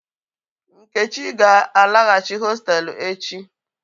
Nkechi ga-alaghachi hostelu echi.